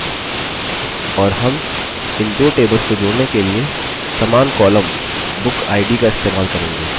और हम इन दो tables को जोड़ने के लिए समान column bookid का इस्तेमाल करेंगे